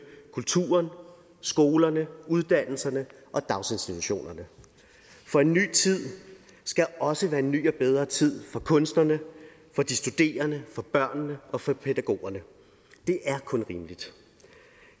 kulturen skolerne uddannelserne og daginstitutionerne for en ny tid skal også være en ny og bedre tid for kunstnerne for de studerende for børnene og for pædagogerne det er kun rimeligt